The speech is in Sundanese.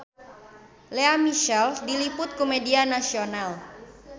Lea Michele diliput ku media nasional